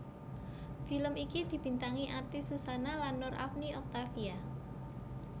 Film iki dibintangi artis Suzanna lan Nur Afni Octavia